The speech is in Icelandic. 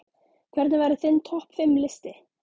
Hvernig væri þinn topp fimm listi?